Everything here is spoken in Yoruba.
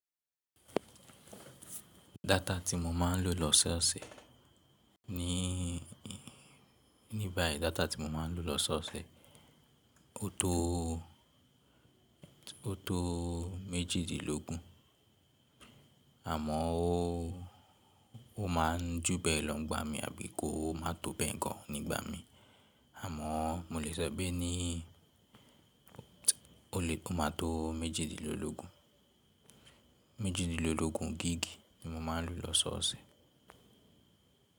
Data tí mo máa ń lò lọ́sọ̀ọ̀sẹ̀ ni, ní báyìí data tí mo máa ń lò lọ́sọ̀ọ̀sẹ̀ ó tó, ó tó méjìdínlógún, àmọ́ ó, ó máa ń júbẹ́lọ́ n gba mi àbí kó má tó bẹ́ẹ̀ gan nígbà mí, àmọ́ mo lè sọ pé ní, ó lè ó máa tó méjìdínlógún, méjìdínlógún gígí ni mo máa ń lò lọ́sọ̀ọ̀sẹ̀.